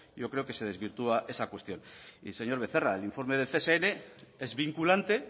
yo creo que se desvirtúa esa cuestión y señor becerra el informe del csn